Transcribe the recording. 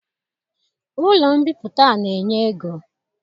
Ụlọ mbipụta na-enye ego.